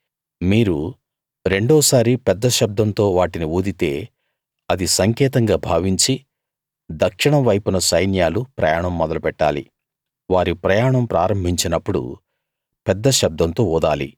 మీరు రెండో సారి పెద్ద శబ్దంతో వాటిని ఊదితే అది సంకేతంగా భావించి దక్షిణం వైపున సైన్యాలు ప్రయాణం మొదలు పెట్టాలి వారి ప్రయాణం ప్రారంభించినప్పుడు పెద్ద శబ్దంతో ఊదాలి